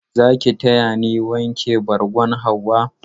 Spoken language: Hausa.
Za ki taya ni wanke bargon Hauwa?